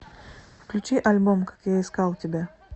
включи альбом как я искал тебя